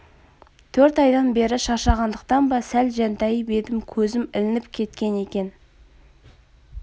төрт айдан бері шаршағандықтан ба сәл жантайып едім көзім ілініп кеткен екен